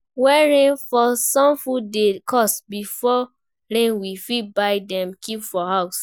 When rain fall, some food dey cost, before rain we fit buy dem keep for house